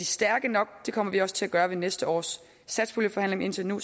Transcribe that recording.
stærke nok det kommer vi også til at gøre i næste års satspuljeforhandlinger indtil nu